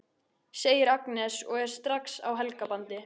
segir Agnes og er strax á Helga bandi.